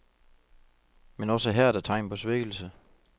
Men også her er der tegn på svækkelse.